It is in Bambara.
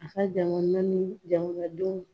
A ka jamana ni jamanadenw